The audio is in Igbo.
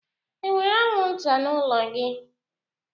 enwere anwụnta n'ụlọ gị?